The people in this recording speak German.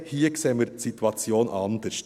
Hingegen sehen wir die Situation hier anders.